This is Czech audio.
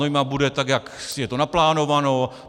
Znojma bude tak, jak je to naplánováno.